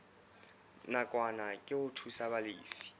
nakwana ke ho thusa balefi